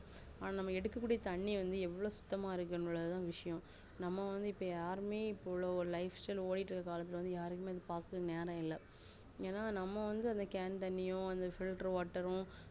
ஆனா நம்ம எடுக்க கூடிய தண்ணி வந்து எவ்ளோ சுத்தமா இருக்குது தான் விசயம் நம்ம வந்து இபோ யாருமே இப்போ உள்ளவங்க lifestyle ஓடிகிட்டு இறுகுற காலத்துல யாருக்குமே நேரம் இல்ல ஏனாநம்ம வந்து அத cane தண்ணியோ filterwater உம்